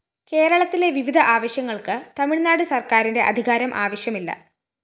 കേരളത്തിലെ വിവിധ ആവശ്യങ്ങള്‍ക്ക് തമിഴ്‌നാട് സര്‍ക്കാറിന്റെ അധികാരം ആവശ്യമില്ല